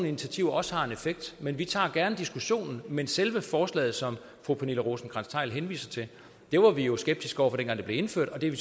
initiativer også har en effekt men vi tager gerne diskussionen men selve forslaget som fru pernille rosenkrantz theil henviser til var vi jo skeptiske over for dengang det blev indført og det